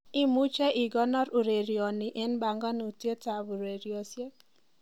imuje igonor urerenoni en panganutiet ureriosyek